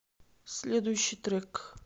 следующий трек